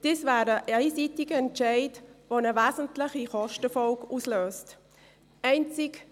Das wäre ein einseitiger Entscheid, der eine wesentliche Kostenfolge auslösen würde.